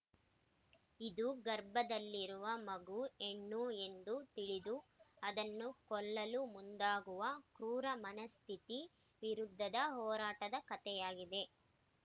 ಇದು ಗರ್ಭದಲ್ಲಿರುವ ಮಗು ಹೆಣ್ಣು ಎಂದು ತಿಳಿದು ಅದನ್ನು ಕೊಲ್ಲಲು ಮುಂದಾಗುವ ಕ್ರೂರ ಮನಸ್ಥಿತಿ ವಿರುದ್ಧದ ಹೋರಾಟದ ಕಥೆಯಾಗಿದೆ